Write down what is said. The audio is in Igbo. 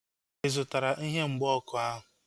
Ị zụtara ihe mgba ọkụ ahu?